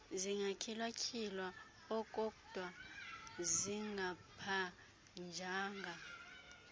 zingatyhilwatyhilwayo kokdwa zingabanjwanga